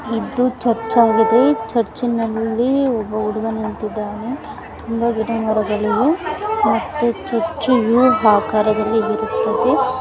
ಇದು ಚರ್ಚ್ ಆಗಿದೆ ಚರ್ಚ್ ನಲ್ಲಿ ಒಬ್ಬ ಹುಡುಗ ನಿಂತಿದ್ದಾನೆ ಸುತ್ತ ಗಿಡಮರಗಳು ಇವೆ ಮತ್ತು ಚರ್ಚ್ ಯು ಆಕಾರದಲ್ಲಿ ಇರುತ್ತದೆ.